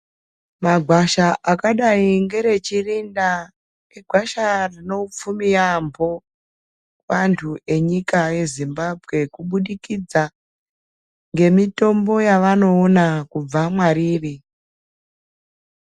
Magwasha akadayi ngereChirinda igwasha rine upfumi yaamho antu enyika yeZimbabwe kubudikidza ngemitombo yavanoona kubva mwariri.